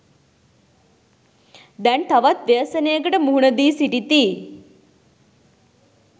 දැන් තවත් ව්‍යසනයකට මුහුණ දී සිටිති.